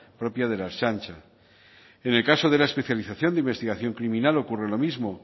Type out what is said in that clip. propia de la ertzaintza en el caso de la especialización de investigación criminal ocurre lo mismo